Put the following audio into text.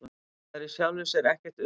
Það er í sjálfu sér ekkert undur.